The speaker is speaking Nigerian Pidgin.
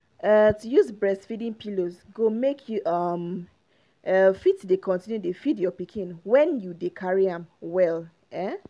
ah to use breastfeeding pillows go make you um ah fit dey continue dey feed your pikin when you dey carry am well ah